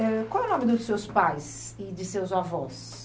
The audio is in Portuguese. Qual é o nome dos seus pais e de seus avós?